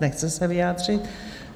Nechce se vyjádřit.